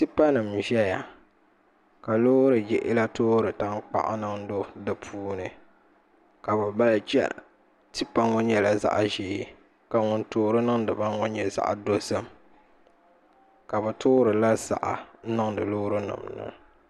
Tipa nim n ʒɛya ka loori yino toori tankpaɣu niŋ do di puuni ka bi mali chɛna tipa ŋo nyɛla zaɣ ʒiɛ ka ŋun toori niŋdiba ŋo nyɛ zaɣ dozim ka bi toorila ziɣa n niŋdi loori nim ni